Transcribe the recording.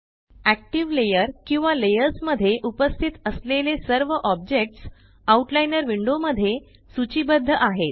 active layer किंवा layers मध्ये उपस्थित असलेले सर्व ऑब्जेक्ट्स आउट लाइनर विंडो मध्ये सूचीबद्ध आहेत